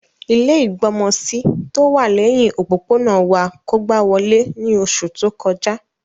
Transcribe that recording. Ilẹ́ ìgbọmọsí tówà lẹhin òpópónà wa kógba wolé ni oṣu to kọja.